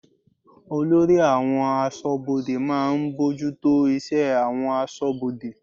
Olórí àwọn aṣọ́bodè máa ń bójútó iṣẹ́ àwọn aṣọ́bodè.